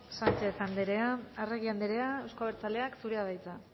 sánchez andrea arregi andrea euzko abertzaleak zurea da hitza